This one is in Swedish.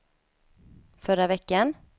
förra veckan